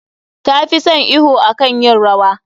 Ta fi son iwo akan yin rawa.